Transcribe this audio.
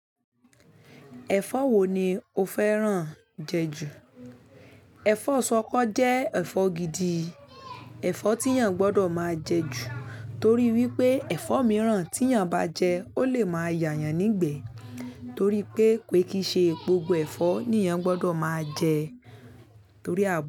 Ẹ̀fọ́ wo ni o fẹ́ràn jẹ jù? Ẹ̀fọ́ ṣọkọ jẹ́ ẹ̀fọ́ gidi, ẹ̀fọ́ tí èyàn gbọdọ̀ máa jẹ jù torí wípé ẹ̀fọ́ mìíràn tí èyàn bá jẹ ó lè máa yà yan nígbe torí pé ko ki ṣe gbogbo ẹ̀fọ́ ni èyàn gbọdọ̀ máa jẹ torí àbò.